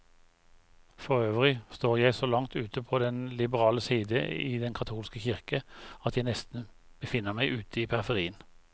Forøvrig står jeg så langt ute på den liberale side i den katolske kirke, at jeg nesten befinner meg ute i periferien.